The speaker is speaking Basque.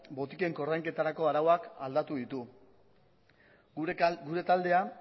botiken koordainketarako arauak aldatu ditu gure taldea